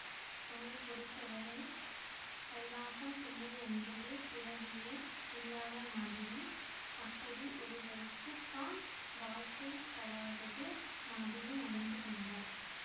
அவளை பொறுத்தவரை கைலாசம் பிள்ளை என்றொரு பிறவியே இல்லாத மாதிரி அப்படி ஒருவருக்கு தான் வாழ்க்கை படாதது மாதிரி நடந்து கொண்டாள்